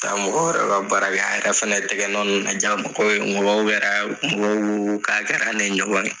mɔgɔw baara kɛ a yɛrɛ fana tɛgɛ nɔn na diya mɔgɔw ye mɔgɔw k'a kɛra ne ɲɔgɔn ye.